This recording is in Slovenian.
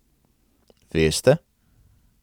Veste?